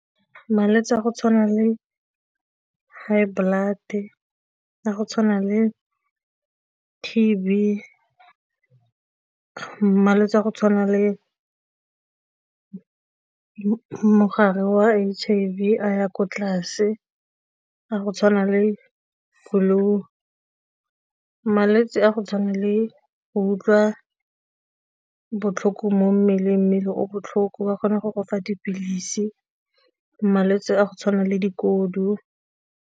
Malwetse a go tshwana le high blood-e, a go tshwana le T_B, malwetse a go tshwana le mogare wa H_I_V a ya ko tlase, a go tshwana le flue malwetse a go le go utlwa botlhoko mo mmeleng mmele o botlhoko wa kgona go go fa dipilisi, malwetse a go tshwana le dikodu.